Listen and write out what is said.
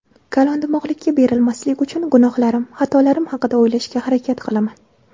Kalondimog‘likka berilmaslik uchun gunohlarim, xatolarim haqida o‘ylashga harakat qilaman.